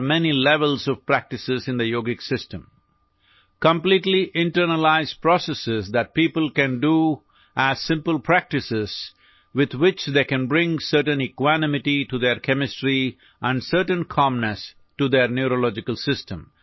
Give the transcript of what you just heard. اس کے لیے، یوگا نظام میں مشق کی بہت سی سطحیں ہیں مکمل طور پر اندرونی عمل جو لوگ سادہ طریقوں کے طور پر کرسکتے ہیں، جس کے ساتھ وہ کیمسٹری میں ایک خاص مساوات اور اپنے اعصابی نظام میں کچھ سکون لا سکتے ہیں